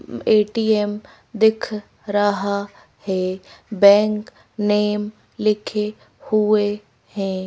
ATM दिख रहा है बैंक नेम लिखे हुए हैं।